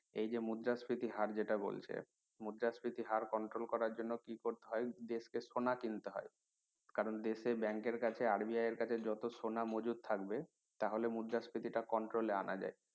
এই যে মুদ্রাস্ফীতির হার যেটা বলছে মুদ্রাস্ফীতির হার control করার জন্য কি করতে হয় দেশ কে সোনা কিনতে হয় কারন দেশের bank এর কাছে RBI এর কাছে জট সোনা মজুদ থাকবে তাহলে মুদ্রাস্ফীতি টা control এ আনা যায়